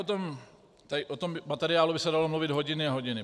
O tom materiálu by se dalo mluvit hodiny a hodiny.